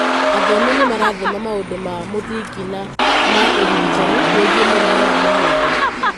Athomi nĩmarathoma maũndũĩ ma mũthingi na ma ũrigitani wĩgiĩ mũrimũ wa mahĩndĩ